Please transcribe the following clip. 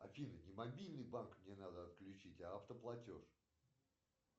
афина не мобильный банк мне надо отключить а автоплатеж